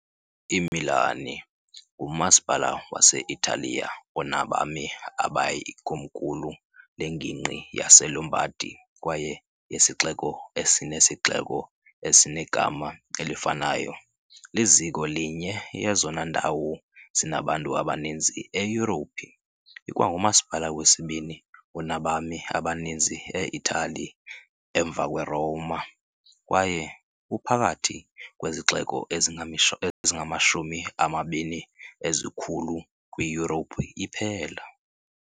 IMilan ngumasipala wase -Italiya onabami abayi , ikomkhulu lengingqi yaseLombardy kwaye yesixeko esinesixeko esinegama elifanayo, liziko linye yezona ndawo zinabantu abaninzi eYurophu, ikwangumasipala wesibini onabami abaninzi e-Itali, emva kweRoma, kwaye uphakathi kwezixeko ezingamashumi amabini ezikhulu kwiYurophu iphela.